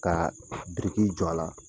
Ka biriki jɔ a la.